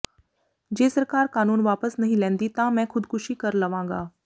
ਜੇ ਸਰਕਾਰ ਕਾਨੂੰਨ ਵਾਪਸ ਨਹੀਂ ਲੈਂਦੀ ਤਾਂ ਮੈਂ ਖੁਦਕੁਸ਼ੀ ਕਰ ਲਵਾਂਗਾ